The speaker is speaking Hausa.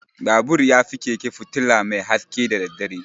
Babur yafi keke fitula mai haske da daddare.